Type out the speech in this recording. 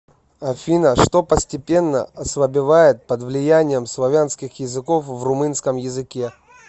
афина что постепенно ослабевает под влиянием славянских языков в румынском языке